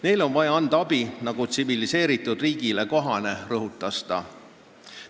Neile on vaja anda abi, nagu tsiviliseeritud riigile kohale, rõhutas ta.